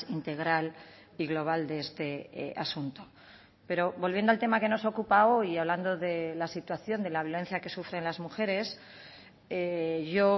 integral y global de este asunto pero volviendo al tema que nos ocupa hoy y hablando de la situación de la violencia que sufren las mujeres yo